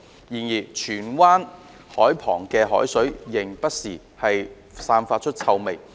然而，荃灣海旁的海水現仍不時散發臭味。